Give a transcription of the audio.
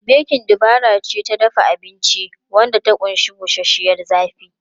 Bekin dabara ce ta dafa abinci wadda ta ƙunshi bushashiyar zafi.